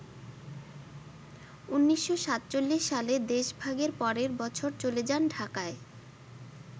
১৯৪৭ সালে দেশভাগের পরের বছর চলে যান ঢাকায়।